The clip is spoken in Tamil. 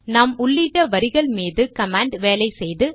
நாம் உள்ளிட்ட வரிகள் மீது கமாண்ட் வேலை செய்து